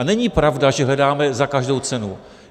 A není pravda, že hledáme za každou cenu.